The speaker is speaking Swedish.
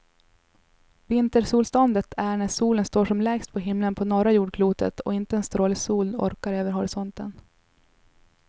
Vintersolståndet är när solen står som lägst på himlen på norra jordklotet och inte en stråle sol orkar över horisonten.